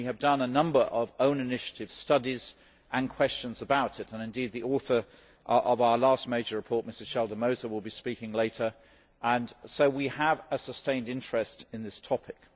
We have done a number of own initiative studies and questions about it and indeed the author of our last major report, Mrs Schaldemose, will be speaking later and so we have a sustained interest in this topic.